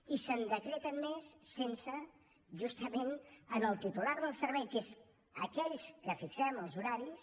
i se’n decreten més sense justament al titular del servei que és aquell que fixa els horaris